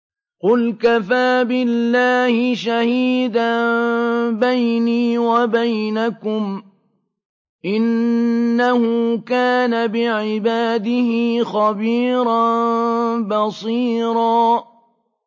قُلْ كَفَىٰ بِاللَّهِ شَهِيدًا بَيْنِي وَبَيْنَكُمْ ۚ إِنَّهُ كَانَ بِعِبَادِهِ خَبِيرًا بَصِيرًا